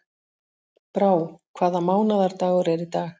Brá, hvaða mánaðardagur er í dag?